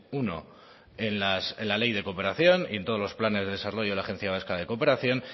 uno en la ley de cooperación y en todos los planes de desarrollo de la agencia vasca de cooperación